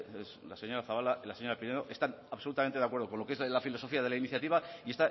la señora zabala y la señora pinedo están absolutamente de acuerdo con lo que es la filosofía de la iniciativa y